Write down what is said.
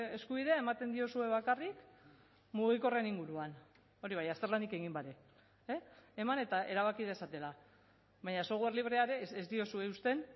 eskubidea ematen diozue bakarrik mugikorren inguruan hori bai azterlanik egin gabe eman eta erabaki dezatela baina software librea ere ez diozue uzten